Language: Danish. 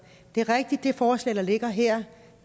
det er rigtigt at det forslag der ligger her